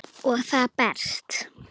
Og það berst.